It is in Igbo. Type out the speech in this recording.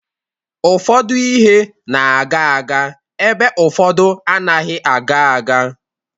Ụfọdụ ihe na-aga aga ebe ụfọdụ anaghị aga aga.